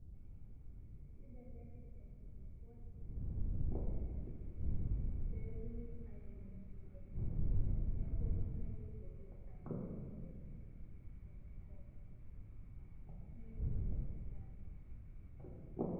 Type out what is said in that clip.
Kibelekeny enkulukuoni pee etumi airemshoto nebulu nkaitubulu aitobiraki tenkop.